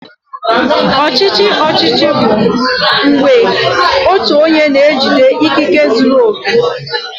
Ọchịchị ọchịchị bụ mgbe otu onye na-ejide ikike zuru oke.